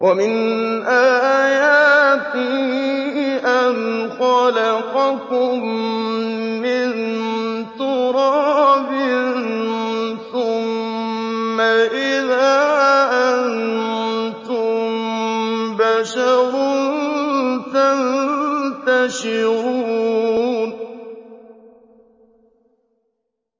وَمِنْ آيَاتِهِ أَنْ خَلَقَكُم مِّن تُرَابٍ ثُمَّ إِذَا أَنتُم بَشَرٌ تَنتَشِرُونَ